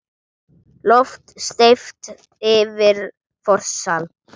Loft steypt yfir forsal.